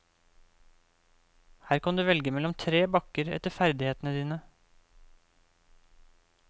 Her kan du velge mellom tre bakker etter ferdighetene dine.